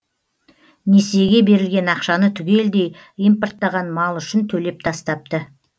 несиеге берілген ақшаны түгелдей импорттаған мал үшін төлеп тастапты